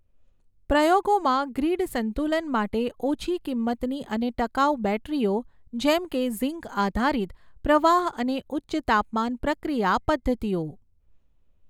પ્રયોગોમાં ગ્રિડ સંતુલન માટે ઓછી કિંમતની અને ટકાઉ બૅટરીઓ જેમ કે ઝિંક આધારિત, પ્રવાહ અને ઉચ્ચ તાપમાન પ્રક્રિયા પદ્ધતિઓ